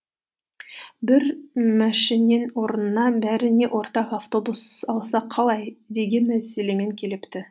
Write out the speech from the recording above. бір мәшінең орнына бәріңе ортақ автобус алсақ қалай деген мәселемен келіпті